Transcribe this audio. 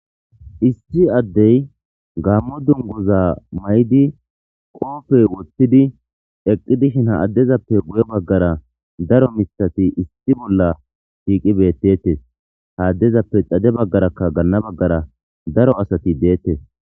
Issi adde gamo dunguza mayidi qofe woththidi eqqidi dishshen ha adde guye bagara daro miththathi issi bolla shiqqidi eqetes ha addeppe xadhe bagara dana bagara daro asati de'etes.